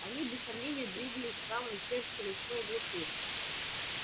они без сомнения двигались в самое сердце лесной глуши